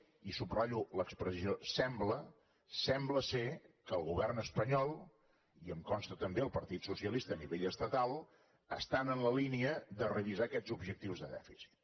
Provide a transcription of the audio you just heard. i subratllo l’expressió sembla sembla que el govern espanyol i em consta també que el partit socialista a nivell estatal estan en la línia de revisar aquests objectius de dèficit